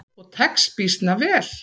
Og tekst býsna vel.